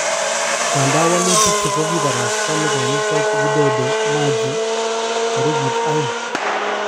Ingadan wolutik chu kokikibarasta nekonyitot Widodo Machi torikit aeng.